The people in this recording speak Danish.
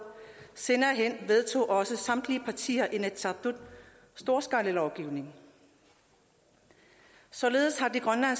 senere vedtog også samtlige partier i inatsisartut storskalalovgivningen således har grønland